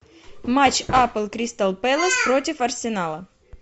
матч апл кристал пэлас против арсенала